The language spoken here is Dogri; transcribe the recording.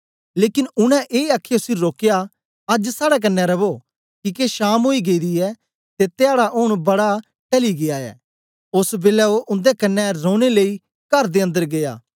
लेकन उनै ए आखीयै उसी रोकया अज्ज साड़े कन्ने रवो किके शाम ओई गेदी ऐ ते धयाडा ऊन बड़ा टली गीया ऐ ओस बेलै ओ उन्दे कन्ने रौनें लेई कर दे अन्दर गीया